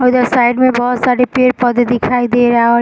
और इधर साइड में बहुत सारे पेड़-पोधे दिखाई दे रहा है।